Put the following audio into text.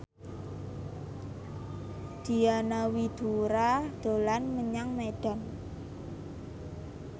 Diana Widoera dolan menyang Medan